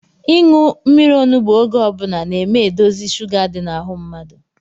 Ịṅụ mmiri onugbu oge ọbula na-eme edozi sụga di n’ahụ mmadụ